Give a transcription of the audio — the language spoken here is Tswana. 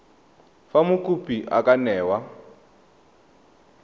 fa mokopi a ka newa